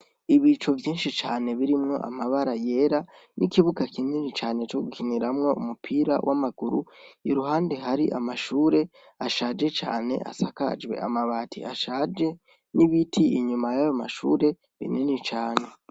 Ibicu vyinshi cane birimwo amabara yera n'ikibuga kinini cane cogukiniramwo umupira w'amaguru iruhande hari amashure ashaje cane asakajwe amabati ashaje n'ibiti inyuma yayo mashure binini cane.